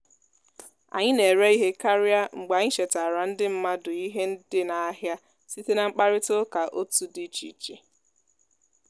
anyị na-ere ihe karịa mgbe anyị chetaara ndị mmadụ ihe dị n'ahịa site na mkparịta ụka otu di iche iche